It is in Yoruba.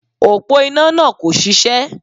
Òpó iná náà kò ṣiṣẹ́